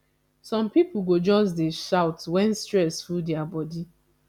some pipo go just dey shout wen stress full their bodi